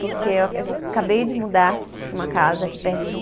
Porque eu a, acabei de mudar para uma casa aqui pertinho.